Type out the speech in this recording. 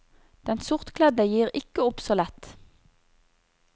Den sortkledde gir ikke opp så lett.